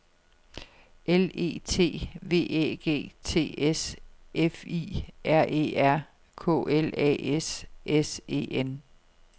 L E T V Æ G T S F I R E R K L A S S E N